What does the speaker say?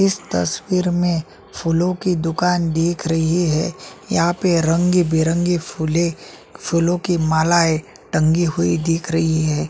इस तस्वीर में फूलो की दुकान दिख रही है यहाँ पर रंग-बिरगे फूले फूलों की मालाये टंगी हुई दिख रही है।